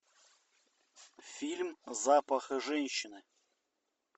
фильм запах женщины